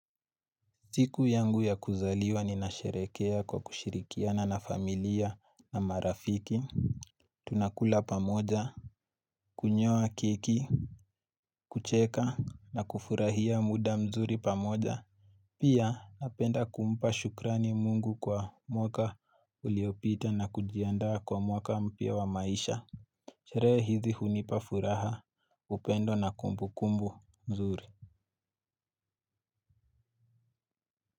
Siku yangu ya kuzaliwa ninasherekea kwa kushirikiana na familia na marafiki. Tunakula pamoja. Kunyoa kiki kucheka na kufurahia muda mzuri pamoja. Pia napenda kumpa shukrani mungu kwa mwaka uliopita na kujiandaa kwa mwaka mpya wa maisha sherehe hizi hunipa furaha upendo na kumbukumbu nzuri.